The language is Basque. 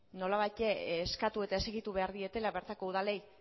nolabait eskatu eta exigitu behar dietela bertako udalei